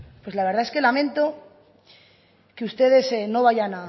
pues la verdad es que lamento que ustedes no vayan